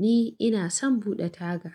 Ni ina son buɗe taga.